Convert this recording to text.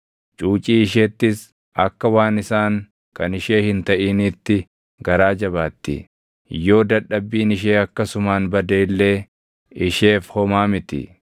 Cuucii isheettis akka waan isaan kan ishee hin taʼiniitti garaa jabaatti; yoo dadhabbiin ishee akkasumaan bade illee isheef homaa miti;